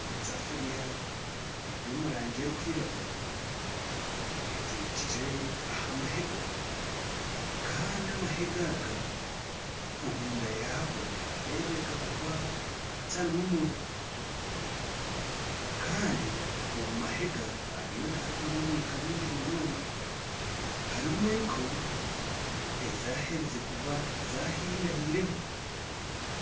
Esafiriya ery'omurange erikwiragura etekyire aha mahega Kandi amahaga aga, omunda yago niharebeka kuba hatarimu muriro Kandi omumahega hariyo niharugamu omwika mwingi munonga. Harimu enku ezaherize kuba zahire hire ho.